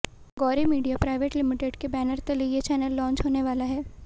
Gauri media private limited के banner तले ये चैनल लॉंच होने वाला है